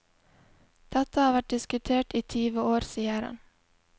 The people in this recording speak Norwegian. Dette har vært diskutert i tyve år, sier han.